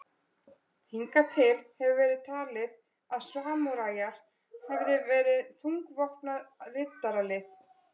Hingað til hefur verið talið að samúræjar hefðu verið þungvopnað riddaralið.